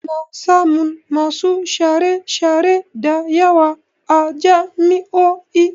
Ana samun masu share-share da yawa a jami'o'i.